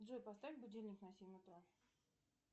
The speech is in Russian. джой поставь будильник на семь утра